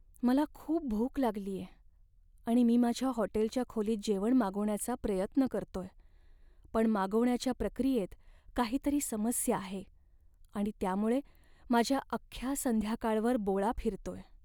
मला खूप भूक लागलीये, आणि मी माझ्या हॉटेलच्या खोलीत जेवण मागवण्याचा प्रयत्न करतोय, पण मागवण्याच्या प्रक्रियेत काहीतरी समस्या आहे आणि त्यामुळे माझ्या अख्ख्या संध्याकाळवर बोळा फिरतोय.